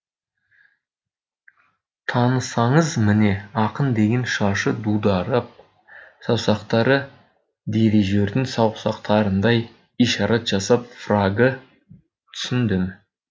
танысаңыз міне ақын деген шашы дудырап саусақтары дирижердің саусақтарындай ишарат жасап фрагы түсіндім